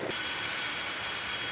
Ortalıq dayanıb, uçur.